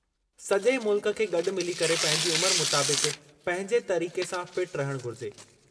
सजे॒ मुल्क खे गॾु मिली करे पंहिंजी उमिरि मुताबिक़ पंहिंजे तरीक़े सां फ़िट रहणु घुरिजे।